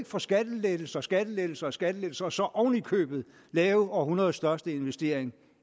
få skattelettelser skattelettelser og skattelettelser og så oven i købet lave århundredets største investering